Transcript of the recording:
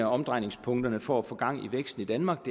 omdrejningspunkterne for at få gang i væksten i danmark